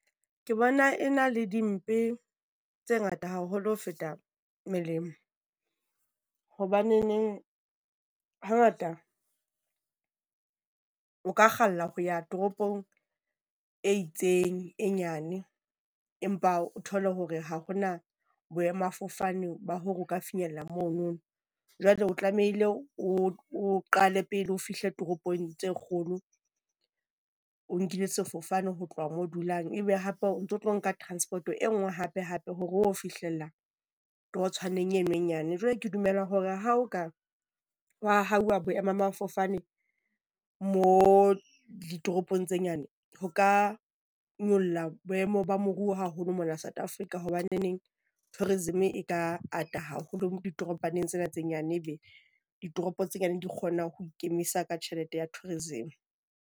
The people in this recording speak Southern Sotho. Ke bona e na le dimpe tse ngata haholo ho feta melemo, hobaneneng hangata o ka kgalla ho ya toropong e itseng e nyane, empa o thole hore ha ho na boemafofane ba hore o ka finyellang mono. Jwale o tlamehile o o qale pele o fihle toropong tse kgolo, o nkile sefofane ho tloha moo dulang e be hape o ntso tlo nka transport e nngwe hape-hape hore o fihlella o torotshwaneng eno e nyane. Jwale ke dumela hore ha ho ka hwa ahuwa boemamafofane mo ditoropong tse nyane, ho ka nyolla boemo ba moruo haholo mona South Africa, hobaneng tourism e ka ata haholo ditoropaneng tsena tse nyane ebe ditoropo tse nyane di kgona ho ikemisa ka tjhelete ya tourism.